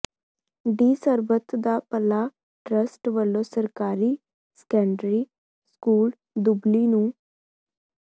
D Sarbat da Bhala trust ਵੱਲੋ ਸਰਕਾਰੀ secondary school Dubli ਨੂੰ